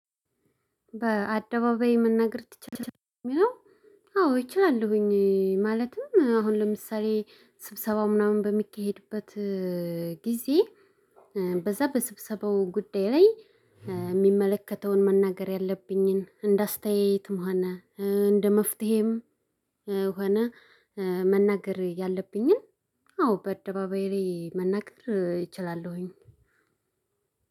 በአደባባይ መናገር ትችላለህ የሚለው? አዎ አችላለሁኝ ማለትም አሁን ለምሳሌ ስብሰባው ምናምን በሚካሄድበት ጊዜ በዛ በስብሰባው ጉዳይ ላይ የሚመለከተውን መናገር ያለብኝን እንደ አስተያየት ሆነ እንደ መፍትሄም ሆነ መናገር ያለብኝን አዎ በአደባባይ ላይ መናገር እችላለሁኝ።